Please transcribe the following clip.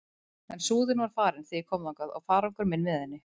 En Súðin var farin þegar ég kom þangað og farangur minn með henni.